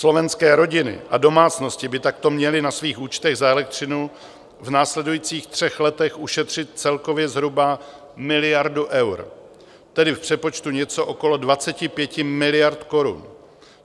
Slovenské rodiny a domácnosti by takto měly na svých účtech za elektřinu v následujících třech letech ušetřit celkově zhruba miliardu eur, tedy v přepočtu něco okolo 25 miliard korun.